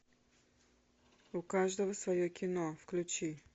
у каждого свое кино включи